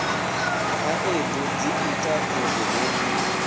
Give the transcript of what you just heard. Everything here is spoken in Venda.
khaedu dzi ita uri hu